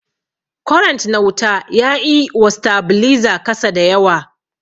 kwarent na wuta yaƴi wa stabiliza kasa dayawa.